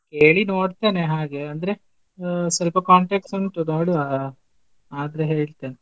ಕೇಳಿ ನೋಡ್ತೇನೆ ಹಾಗೆ ಅಂದ್ರೆ ಆ ಸ್ವಲ್ಪ contacts ಉಂಟು ನೋಡುವಾ ಆದ್ರೆ ಹೇಳ್ತೇನ್.